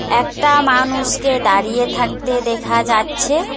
একটা মানুষকে দাঁড়িয়ে থাকতে দেখা যাচ্ছে।